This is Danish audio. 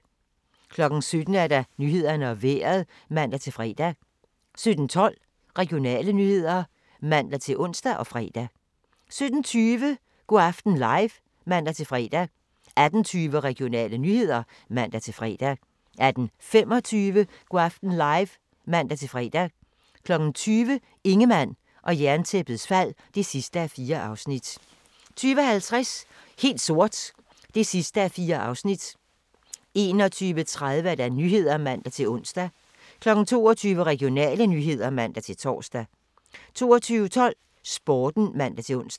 17:00: Nyhederne og Vejret (man-fre) 17:12: Regionale nyheder (man-ons og fre) 17:20: Go' aften live (man-fre) 18:20: Regionale nyheder (man-fre) 18:25: Go' aften live (man-fre) 20:00: Ingemann og Jerntæppets fald (4:4) 20:50: Helt sort (4:4) 21:30: Nyhederne (man-ons) 22:00: Regionale nyheder (man-tor) 22:12: Sporten (man-ons)